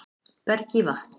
Berg í vatn